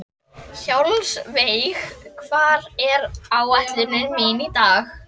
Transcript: Hjálmveig, hvað er á áætluninni minni í dag?